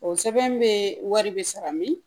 O sɛbɛn bɛ wari bɛ sara min